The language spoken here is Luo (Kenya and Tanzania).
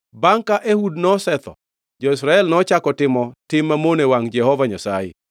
Bangʼ ka Ehud nosetho, jo-Israel nochako otimo tim mamono e wangʼ Jehova Nyasaye.